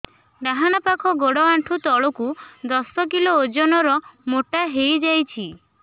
ଡାହାଣ ପାଖ ଗୋଡ଼ ଆଣ୍ଠୁ ତଳକୁ ଦଶ କିଲ ଓଜନ ର ମୋଟା ହେଇଯାଇଛି